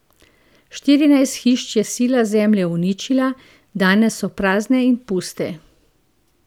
Štirinajst hiš je sila zemlje uničila, danes so prazne in puste.